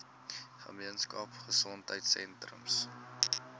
gemeenskap gesondheidsentrum ggs